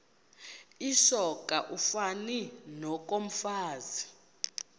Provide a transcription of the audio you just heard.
lisoka ufani nokomfazi